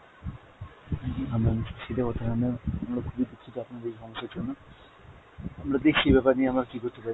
আমরা খুবই দুঃখিত আপনার এই সমস্যার জন্য, আমরা দেখছি এই ব্যাপার নিয়ে আমরা কী করতে পারি।